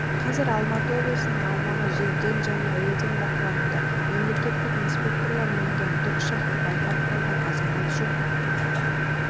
қазір алматы облысының аумағы жерден және әуеден бақылануда мемлекеттік инспекторлар мінген тікұшақты байқап қалған азамат жүк